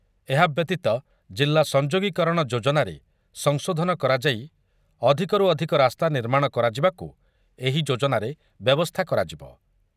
ଏହା ବ୍ୟତୀତ ଜିଲ୍ଲା ସଂଯୋଗୀକରଣ ଯୋଜନାରେ ସଂଶୋଧନ କରାଯାଇ ଅଧିକରୁ ଅଧିକ ରାସ୍ତା ନିର୍ମାଣ କରାଯିବାକୁ ଏହି ଯୋଜନାରେ ବ୍ୟବସ୍ଥା କରାଯିବ